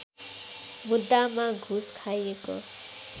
मुद्दामा घुस खाएको